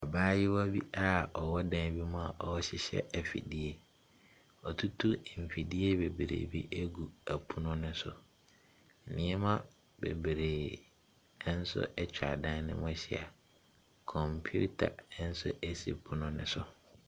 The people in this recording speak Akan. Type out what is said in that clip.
Abaayewa bi ɔwɔ dan bi mua ɔrehyehyɛ mfidie. Wɔatutu mfidie bebree agu pono so. Nneɛma bebree nsoatwa dan ne ho ahyia. Kɔmpiita nso ɛsi pono ne so.